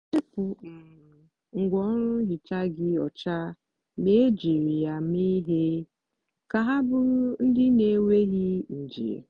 wepu um ngwaọrụ nhicha gị ọcha mgbe ejiri um ya mee ihe ka ha bụrụ ndị na-enweghị nje.